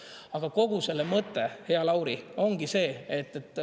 Aga kogu selle mõtte, hea Lauri, ongi see.